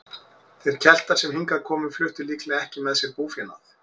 Þeir Keltar sem hingað komu fluttu líklega ekki með sér búfénað.